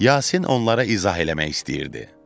Yasin onlara izah eləmək istəyirdi.